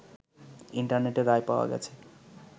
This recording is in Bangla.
ইন্টারনেটে রায় পাওয়া গেছে